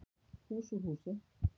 Hús úr húsi